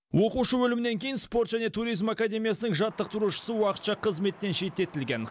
оқушы өлімінен кейін спорт және туризм академиясының жаттықтырушысы уақытша қызметтен шеттетілген